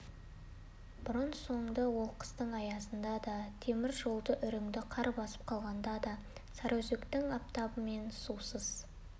бұрын-соңды ол қыстың аязында да темір жолды үрінді қар басып қалғанда да сарыөзектің аптабы мен сусыз